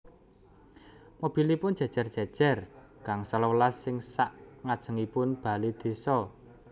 Mobilipun jejer jejer gangsal welas ing sak ngajengipun bale desa